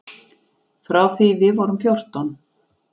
Frá því við vorum fjórtán.